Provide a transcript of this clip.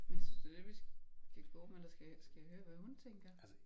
Men synes du det det vi skal gå med eller skal jeg høre hvad hun tænker?